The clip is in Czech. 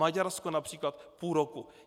Maďarsko například půl roku.